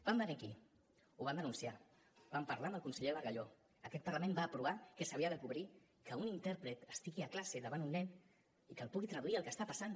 van venir aquí ho van denunciar van parlar amb el conseller bargalló aquest parlament va aprovar que s’havia de cobrir que un intèrpret estigui a classe davant un nen i que li pugui traduir el que està passant